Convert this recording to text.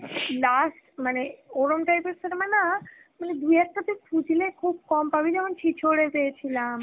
last মানে ওরম type এর cinema না মানে দু একটা তুই খুজলে খুব কম পাবি যেমন Hindi পেয়েছিলাম.